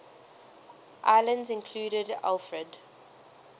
islands included alfred